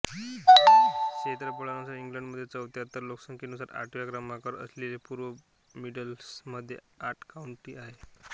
क्षेत्रफळानुसार इंग्लंडमध्ये चौथ्या तर लोकसंख्येनुसार आठव्या क्रमांकावर असलेल्या पूर्व मिडलंड्समध्ये आठ काउंटी आहेत